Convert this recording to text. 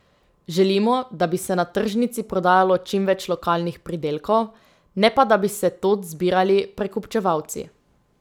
Želimo, da bi se na tržnici prodajalo čim več lokalnih pridelkov, ne pa da bi se tod zbirali prekupčevalci.